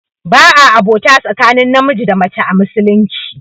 Ba a abota tsakanin namiji da mace a musulunci